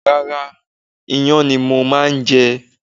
Rárá, iyán ni mo máa jẹ